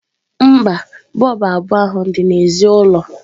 mba, bọlbụ abụọ ahụ dị n'èzí ụlọ.